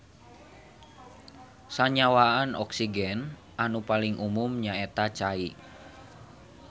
Sanyawaan oksigen anu paling umum nyaeta cai.